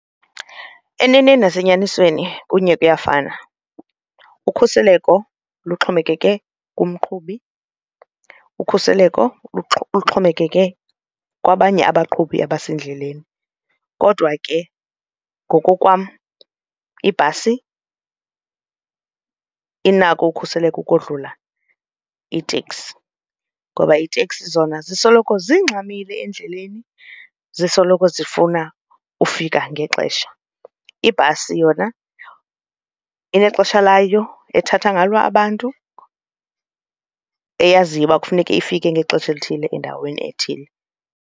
Eneneni nasenyanisweni kunye kuyafana, ukhuseleko luxhomekeke kumqhubi, ukhuseleko luxhomekeke kwabanye abaqhubi abasendleleni. Kodwa ke ngokokwam ibhasi inako ukhuseleko ukodlula iteksi ngoba iiteksi zona zisoloko zingxamile endleleni zisoloko zifuna ukufika ngexesha. Ibhasi yona inexesha layo ethatha ngalo abantu eyaziyo uba kufuneke ifike ngexesha elithile endaweni ethile.